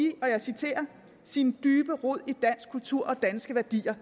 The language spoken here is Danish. sin dybe rod i dansk kultur og danske værdier